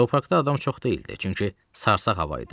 Zooparkda adam çox deyildi, çünki sarsağ hava idi.